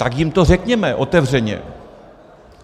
Tak jim to řekněme otevřeně.